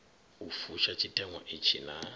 u fusha tshiteṅwa itshi naa